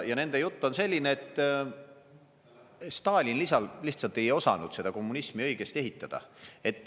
Ja nende jutt on selline, et Stalin lihtsalt ei osanud seda kommunismi õigesti ehitada.